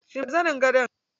Shimfiɗa zanin gado.